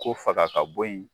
K'o faga ka bɔ ye.